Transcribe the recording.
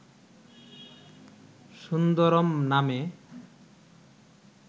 সুন্দরম নামে